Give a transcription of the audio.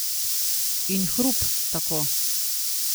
In hrup, tako.